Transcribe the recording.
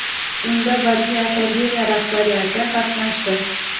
Unda Badiiy Akademiya rahbariyati qatnashdi.